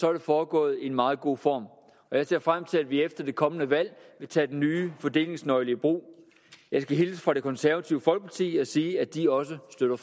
er det foregået i en meget god form og jeg ser frem til at vi efter det kommende valg vil tage den nye fordelingsnøgle i brug jeg skal hilse fra det konservative folkeparti og sige at de også støtter